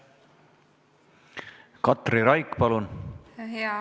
Katri Raik, palun!